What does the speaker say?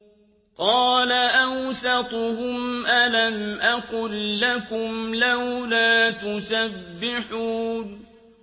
قَالَ أَوْسَطُهُمْ أَلَمْ أَقُل لَّكُمْ لَوْلَا تُسَبِّحُونَ